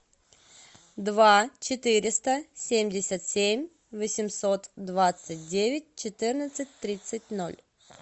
два четыреста семьдесят семь восемьсот двадцать девять четырнадцать тридцать ноль